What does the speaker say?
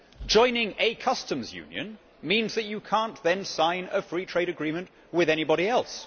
Joining a customs union means that you cannot sign a free trade agreement with anybody else.